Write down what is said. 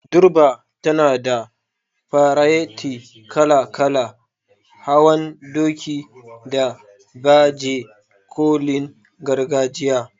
Durbar tana da fareti kala-kala, hawan doki, da baje kolin gargajiya.